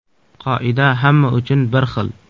Qoida hamma uchun bir xil.